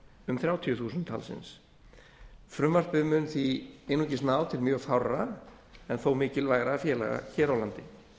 um þrjátíu þúsund talsins frumvarpið mun því einungis ná til mjög fárra en þó mikilvægra félaga hér á landi